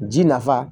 Ji nafa